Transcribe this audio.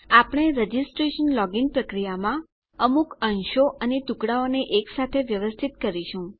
આપણે registration login પ્રક્રિયામાં અમુક અંશો અને ટુકડાઓને એકસાથે વ્યવસ્થિત કરીશું